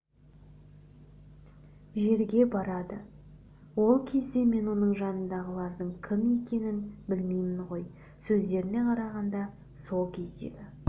жерге барады ол кезде мен оның жанындағылардың кім екенін білмеймін ғой сөздеріне қарағанда сол кездегі